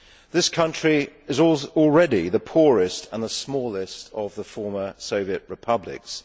This country is already the poorest and the smallest of the former Soviet republics.